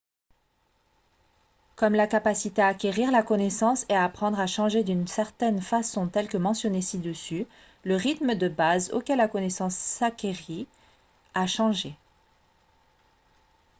comme la capacité à acquérir la connaissance et à apprendre a changé d'une certaine façon telle que mentionnée ci-dessus le rythme de base auquel la connaissance s'acquérait a changé